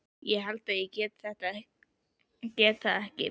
ég held ég geti það ekki.